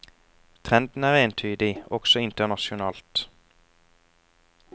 Trenden er entydig, også internasjonalt.